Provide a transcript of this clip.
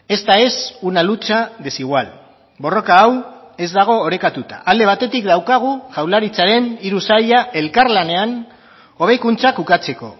esta es una lucha desigual borroka hau ez dago orekatuta alde batetik daukagu jaurlaritzaren hiru saila elkarlanean hobekuntzak ukatzeko